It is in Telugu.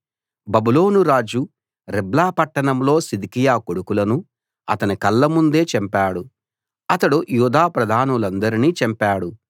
బబులోను రాజు రిబ్లా పట్టణంలో సిద్కియా కొడుకులను అతని కళ్ళముందే చంపాడు అతడు యూదా ప్రధానులందరినీ చంపాడు